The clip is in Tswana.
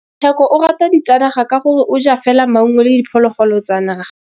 Tshekô o rata ditsanaga ka gore o ja fela maungo le diphologolo tsa naga.